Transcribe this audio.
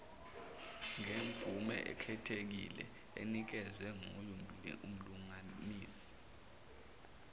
ngemvumeekhethekile enikezwe ngyumlunganisi